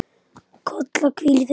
Kolla, hvíl í friði.